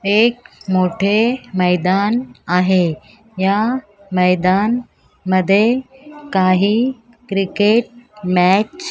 एक मोठे मैदान आहे या मैदान मध्ये काही क्रिकेट मॅच --